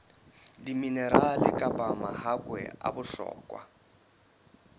diminerale kapa mahakwe a bohlokwa